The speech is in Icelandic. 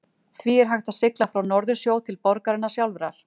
því er hægt að sigla frá norðursjó til borgarinnar sjálfrar